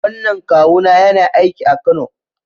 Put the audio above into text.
Wannan kawuna yana aiki a Kano